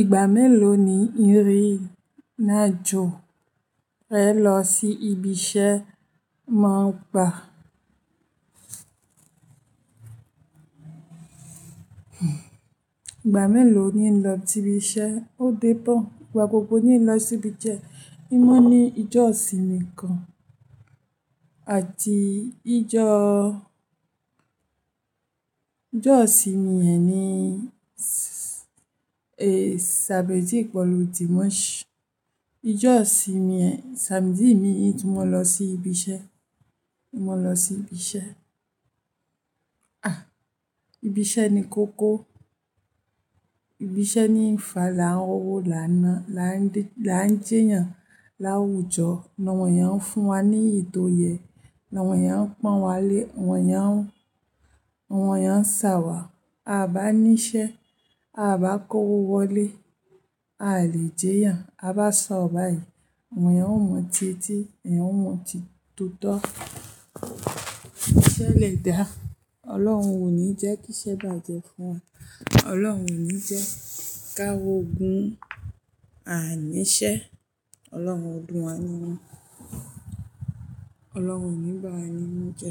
Ìgbà mélòó ni Ìrìnàjò rẹ lọ sí ibi iṣẹ́ máa ń gba? Ìgbà mélòó ni ń lọ sí ibi iṣẹ́, ó dé pọ̀. Ìgbà gbogbo ni ń lọ sí ibi isẹ. Ín mọ́ ní ijọ́ ìsinmi gan àti ijọ́óo mi ẹ ni, Samedi pẹ̀lú Dimanche. Ijọ́ ìsinmi ẹ Samedi mii ín tún mo n lọ sí ibi iṣẹ́, mo lọ sí ibi iṣẹ́. Ah! Ibi iṣẹ́ ni kókó, ibi iṣẹ́ ni ń fà láá n rówo, láá ná, láá jeyàn, l'áwùjọ, ni àwọn èèyàn ń fún wa ní èyi tò yẹ, ni àwọn èèyàn ń pọ̀n wá lé, àwọn èèyàn ń ṣàwà. A bá ní iṣẹ́, a bá kówó wọlé, aa lè jeyàn, a bá sọ̀rọ̀ báyìí, àwọn èèyàn ó mọ̀ dití, èèyàn ó mọ̀ tútọ́. Iṣẹ́ le dà, Ọlọ́run ò ní jẹ́ kí iṣẹ́ bàjẹ́ fún wa, Ọlọ́run ò ní jẹ́ ká rogun, a ní iṣẹ́, Ọlọ́run ọdún wa nínú, Ọlọ́run o níbà wá nínú jẹ.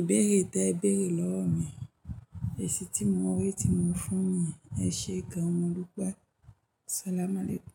Ìbéèrè tẹ béèrè lọ́wọ́ mi, èsì tí mo rí tí mo fún ni ẹ̀, ẹ ṣe gan-an mo dúpẹ, salamalẹ́kù.